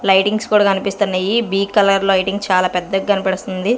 Lightings కూడా కనిపిస్తున్నాయి బీక్ కలర్ లైటింగ్ చాలా పెద్ద కనపడుస్తుంది.